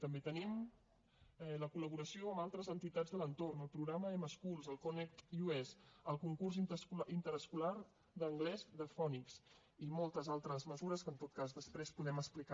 també tenim la col·laboració amb altres entitats de l’entorn el programa mschools el connect us el concurs interescolar d’anglès the fonix i moltes altres mesures que en tot cas després podem explicar